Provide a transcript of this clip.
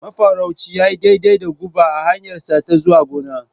Mafarauci ya yi daidai da guba a hanyarsa ta zuwa gona.